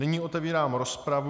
Nyní otevírám rozpravu.